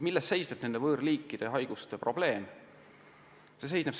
Milles seisneb nende võõrliikide haiguste probleem?